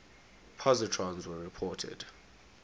positrons were reported